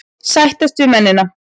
Sættast við mennina.